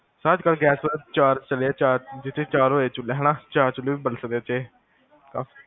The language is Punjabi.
sir ਅੱਜਕਲ ਗੈਸ ਚੁਲ੍ਹੇ ਵੀ ਚਾਰ ਚੱਲੇ ਆ, ਚਾਰ ਜਿਤੇ ਚਾਰੋ ਇਹ ਚੁਲ੍ਹੇ, ਚਾਰ ਚੁਲ੍ਹੇ ਵੀ ਬਲ ਸਕਦੇ ਆ ਏਦੇ ਤੇ